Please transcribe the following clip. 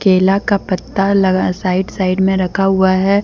केला का पत्ता लगा साइड साइड में रखा हुआ है।